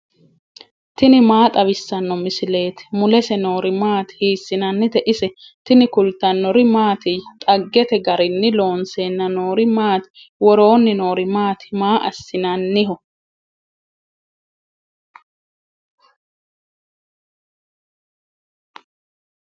tini maa xawissanno misileeti ? mulese noori maati ? hiissinannite ise ? tini kultannori mattiya? Xageette garinni loonseenna noori maatti? Woroonni noori maatti? maa assinnanniho?